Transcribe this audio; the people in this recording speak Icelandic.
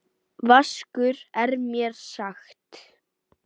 Vaskur maður er mér sagt.